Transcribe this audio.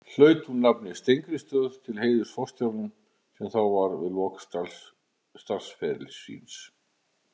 Hlaut hún nafnið Steingrímsstöð til heiðurs forstjóranum, sem þá var við lok starfsferils síns.